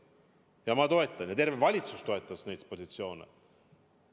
Ja ma toetan ja terve valitsus toetab neid positsioone.